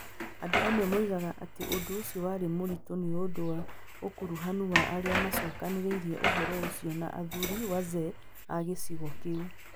Andũ amwe moigaga atĩ ũndũ ũcio warĩ mũritũ nĩ ũndũ wa ũkuruhanu wa arĩa maacokanĩrĩirie ũhoro ũcio na athuri (wazee) a gĩcigo kĩu.